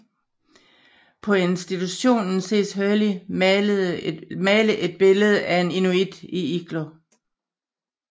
På institutionen ses Hurley male et billede af en inuit i iglo